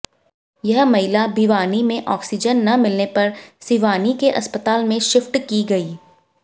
यह महिला भिवानी में आक्सीजन न मिलने पर सिवानी के अस्पताल में शिफ्ट की गई